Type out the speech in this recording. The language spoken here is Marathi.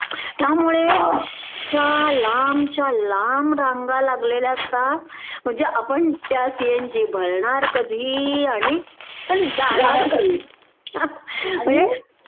त्यामुळे अश्या लांबच्या लांब रांगा लागलेल्या असतात म्हणजे आपण त्या सीएनजी भरणार कधी आणि जाणार कधी?